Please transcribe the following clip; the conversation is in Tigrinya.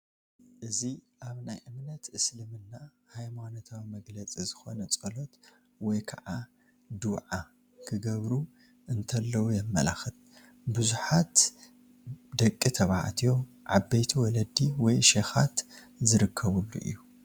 እዚ ኣብ ናይ እምነት እስልምና ሃይማኖታዊ መግለፂ ዝኾነ ፀሎት ወይ ከዓ ዱዓ ክገብሩ እንተለው የመላኽት፡፡ ብዙሓት ደቂ ተባዕትዮ ዓበይቲ ወለዲ ወይ ሼኻት ዝርከብሉ እዩ፡፡